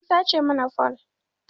An sace mana fole